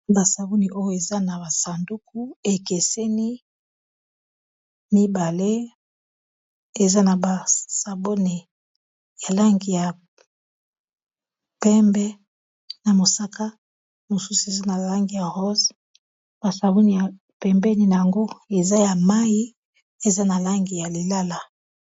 Ba sabuni oyo eza na ba sanduku ekeseni mibale eza na basabuni ya langi ya pembe na mosaka mosusu eza na langi ya rose basabuni ya pembeni nango eza ya mayi eza na langi ya lilala.